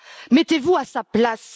mettez vous à sa place!